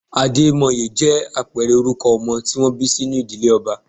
Ademoye jẹ́ àpẹẹrẹ orúkọ ọmọ tí wọ́n bí sínú ìdílé ọba.